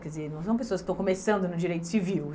Quer dizer, não são pessoas que estão começando no direito civil.